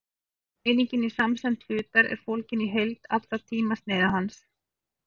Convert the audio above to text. einingin í samsemd hlutar er fólgin í heild allra tímasneiða hans